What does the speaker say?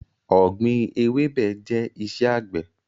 Ọ̀gbín ewébẹ̀ jẹ iṣẹ́ àgbẹ̀